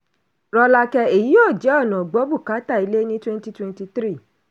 rọ́lákẹ́: èyí yóò jẹ́ ọ̀nà gbọ́ bùkátà ilé ní 2023.